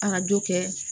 arajo kɛ